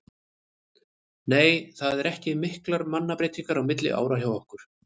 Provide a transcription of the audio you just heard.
Nei það eru ekki miklar mannabreytingar milli ára hjá okkur.